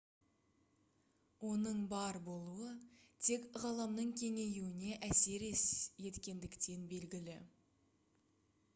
оның бар болуы тек ғаламның кеңеюіне әсер еткендіктен белгілі